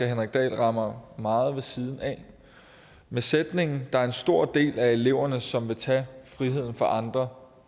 henrik dahl rammer meget ved siden af med sætningen der er en stor del af eleverne som vil tage friheden fra andre